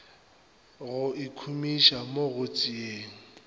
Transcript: go ikhumiša mo go tšeeng